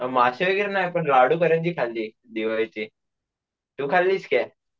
माशे वगैरे नाय लाडू करंजी खाल्ली दिवाळीची, तू खाल्लीस काय?